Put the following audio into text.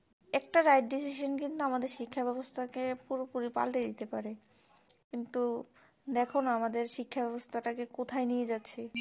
একটা right decision কিন্তু আমাদের শিক্ষা ব্যাবস্থাকে পুরোপুরি পাল্টে দিতে পারে কিন্তু দেখো না আমাদের শিক্ষা ব্যবস্থা টা কে কোথায় নিয়ে যাচ্ছে